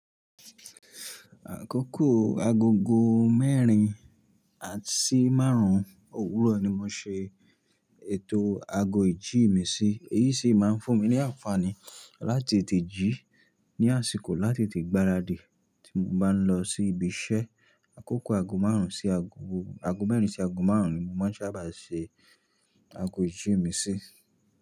Àkókò agogo mẹ́rin à, si márùn-ún òwúrọ̀ ni mo ṣe ètò ago ìjí mi sí. Èyí sì máa ń fún mi ní àǹfààní láti tètè jí ní àsìkò láti tètè gbaradì tí mo bá ń lọ sí ibi iṣẹ́. Àkókò ago mẹ́rin sí ago márùn-ún ni mo máa ń sábà ṣe ago ìjí mi sí.